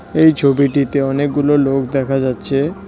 এই ছবিটিতে অনেকগুলো লোক দেখা যাচ্ছে।